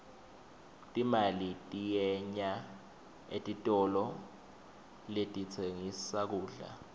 timali tiyenya etitolo letitsengissa kudla